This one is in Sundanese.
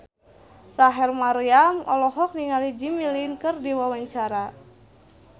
Rachel Maryam olohok ningali Jimmy Lin keur diwawancara